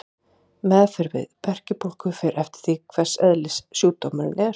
Meðferð við berkjubólgu fer eftir því hvers eðlis sjúkdómurinn er.